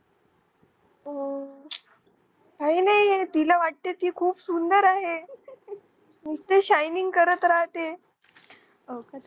काहींनाहीये तिला वाटते ती खूप सुंदर आहे नुसतं shining करत राहते